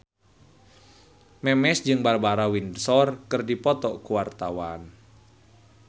Memes jeung Barbara Windsor keur dipoto ku wartawan